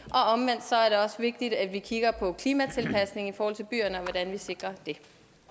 også vigtigt at vi kigger på klimatilpasningen i forhold til byerne og hvordan vi sikrer det